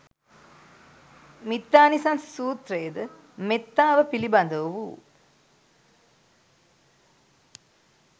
මිත්තානිසංස සූත්‍රය ද මෙත්තාව පිළිබඳ වූ,